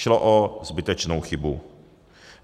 Šlo o zbytečnou chybu.